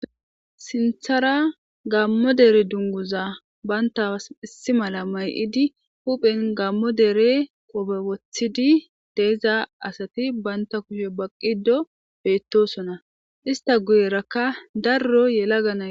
Sinththara gammo dere dunguza bantas issi mala may'idi huphen gammo dere qoobe woththidi de'iza asati banta guye baqqido beetosona; ista guyeraka daro yelagana...